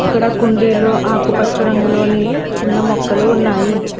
ఇక్కడ కుండీలో ఆకుపచ్చ రంగులోని చిన్న మొక్కలు ఉన్నాయి.